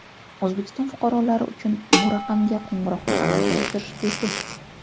O‘zbekiston fuqarolari uchun bu raqamga qo‘ng‘iroqni amalga oshirish bepul.